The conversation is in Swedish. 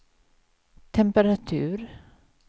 temperatur